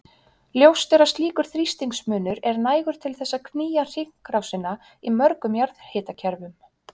Ljóst er að slíkur þrýstingsmunur er nægur til þess að knýja hringrásina í mörgum jarðhitakerfum.